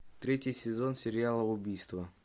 третий сезон сериала убийство